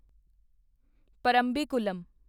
Parambikulam